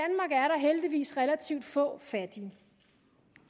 heldigvis relativt få fattige